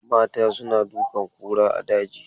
Mata suna dukan kura a daji.